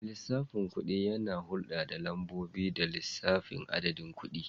Mai lissafin kuɗi yana hulɗa da lambobi da lissafin adadin kuɗi.